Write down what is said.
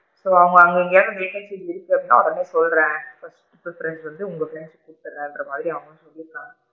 so அவுங்க அங்க எங்கயாவது vacancy இருக்கு அப்படின்னா உடனே சொல்றேன் கூபிடுறேன்னு சொல்லிட்டு உங்க பிரெண்ட்ஸ்க்கு குடுதிடுறேன்ர மாதிரி அவுங்க சொல்லி இருக்காங்க.